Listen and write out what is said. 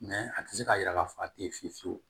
Mɛ a tɛ se k'a jira k'a fɔ a tɛ ye fiye fiyewu